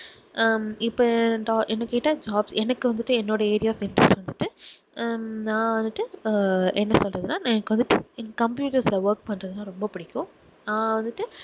ஹம் இப்போ என்னை கேட்டா jobs எனக்கு வந்துட்டு என்னுடைய area of interest வந்துட்டு அஹ் நான் வந்துட்டு அஹ் என்ன சொல்றதுன்னா எனக்கு வந்துட்டு computers ல work பண்ணுறதுன்னா ரொம்ப புடிக்கும் நான் வந்துட்டு